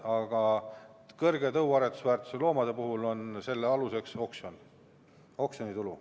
Aga kõrge tõuaretusväärtusega loomade puhul on selle aluseks oksjon ja oksjonitulu.